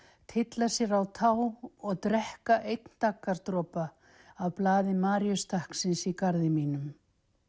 tylla sér á tá og drekka einn af blaði maríustakksins í garði mínum